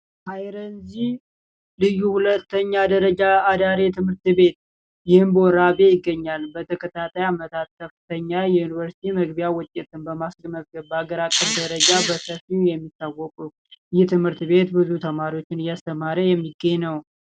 አይረንዚ ልዩ ሁለተኛ ደረጃ አዳሪ ትምህርት ቤት ይገኛል በተከታታይ አመታት ከፍተኛ የዩኒቨርስቲ መግቢያ ውጤት ደረጃ የሚታወቁት ቤት የትምህርት ቤት ብዙ ተማሪዎች እያስተማረ በሚታወቅ ነው።